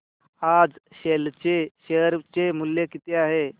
आज सेल चे शेअर चे मूल्य किती आहे